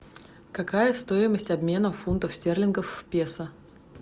какая стоимость обмена фунтов стерлингов в песо